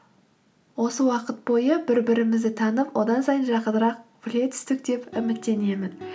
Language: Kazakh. осы уақыт бойы бір бірімізді танып одан сайын жақынырақ біле түстік деп үміттенемін